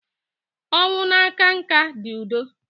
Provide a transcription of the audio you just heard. ọnwụ na-aka nká dị udo.